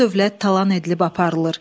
Mal-dövlət talan edilib aparılır.